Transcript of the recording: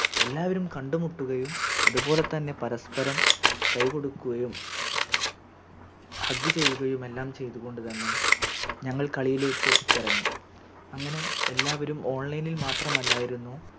എല്ലാവരും കണ്ടുമുട്ടുകയും അത്പോലെതന്നെ പരസ്പ്പരം കൈ കൊടുക്കുകയും Hug ചെയ്യുകയും എല്ലാം ചെയ്തുകൊണ്ട് തന്നെ ഞങ്ങൾ കളിയിലേക്ക് ഇറങ്ങി അങ്ങനെ എല്ലാവരും Online ഇൽ മാത്രമല്ലായിരുന്നു